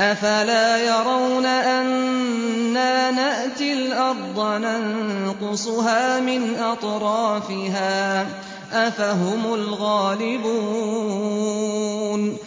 أَفَلَا يَرَوْنَ أَنَّا نَأْتِي الْأَرْضَ نَنقُصُهَا مِنْ أَطْرَافِهَا ۚ أَفَهُمُ الْغَالِبُونَ